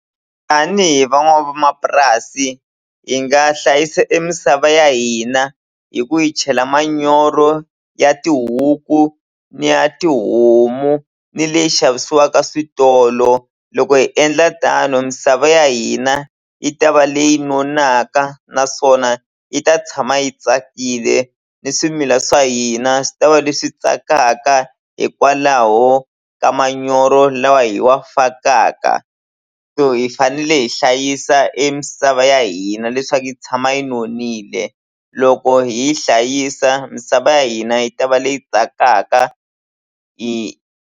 Tanihi van'wamapurasi hi nga hlayisa e misava ya hina hi ku hi chela manyoro ya tihuku ni ya tihomu ni leyi xavisiwaka switolo loko hi endla tano misava ya hina yi ta va leyi nonakaka naswona yi ta tshama yi tsakile ni swimila swa hina swi ta va leswi tsakamaka hikwalaho ka manyoro lawa hi wa fakaka so hi fanele hi hlayisa e misava ya hina leswaku yi tshama yi nonile loko hi yi hlayisa misava ya hina yi ta va leyi tsakaka .